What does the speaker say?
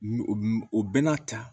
O bɛɛ n'a ta